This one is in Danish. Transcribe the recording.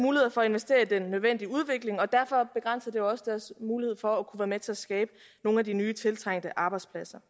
muligheder for at investere i den nødvendige udvikling og derfor begrænser det også deres mulighed for at være med til at skabe nogle af de nye tiltrængte arbejdspladser